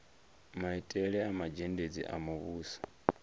maitele a mazhendedzi a muvhuso